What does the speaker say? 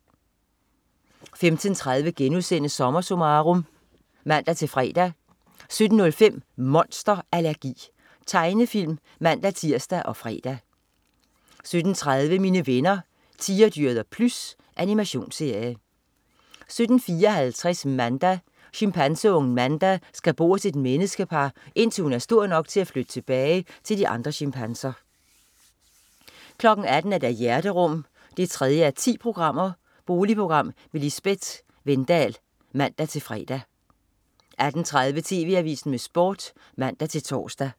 15.30 SommerSummarum* (man-fre) 17.05 Monster allergi. Tegnefilm (man-tirs og fre) 17.30 Mine venner Tigerdyret og Plys. Animationsserie 17.54 Manda. Chimpanseungen Manda skal bo hos et menneskepar, indtil hun er stor nok til at flytte tilbage til de andre chimpanser 18.00 Hjerterum 3:10. Boligprogram med Lisbett Wedendahl (man-fre) 18.30 TV AVISEN med Sport (man-tors)